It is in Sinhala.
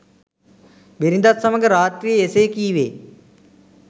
බිරිඳත් සමඟ රාත්‍රියේ එසේ කීවේ